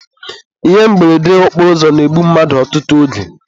Ihe mberede okporoụzọ na-egbu mmadụ ọtụtụ oge.